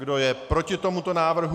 Kdo je proti tomuto návrhu?